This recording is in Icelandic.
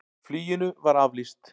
Fluginu var aflýst.